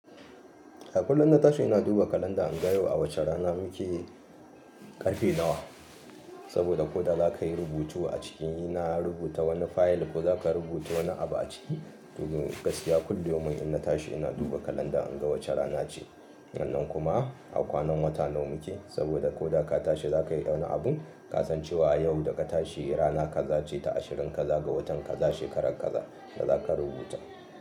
A kullun na tashi ina duba kalanda in ga yau a wace rana muke ƙarfe nawa. Saboda ko da za ka yi rubutu a ciki na rubuta wani fayil ko za ka rubuta wani abu a ciki. Dun gaskiya kullu yaumin in na tashi ina duba kalanda in ga wace rana ce. Annan kuma a kwanan wata nawa muke. Saboda ko da ka tashi za ka yi wani abun ka san cewa yau da ka tashi rana kaza ce ta ashirin kaza ga watan kaza shekaran kaza da za ka rubuta.